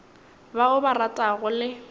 ba o ba ratago le